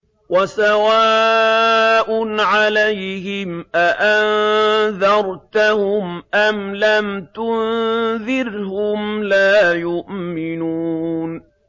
وَسَوَاءٌ عَلَيْهِمْ أَأَنذَرْتَهُمْ أَمْ لَمْ تُنذِرْهُمْ لَا يُؤْمِنُونَ